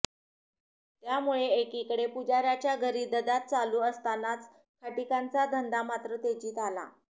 त्यामुळे एकीकडे पुजार्याच्या घरी ददात चालू असतानाच खाटीकांचा धंदा मात्र तेजीत आला